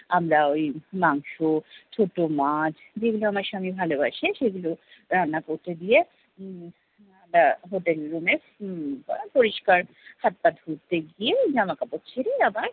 আমরা ওই মাংস, ছোট মাছ যেগুলা আমার স্বামী ভালো বসে সেগুলো রান্না করতে দিয়ে উম আমরা hotel room এ উম পরিষ্কার হাত টাত ধুয়ে জামা কাপড় ছেড়ে আবার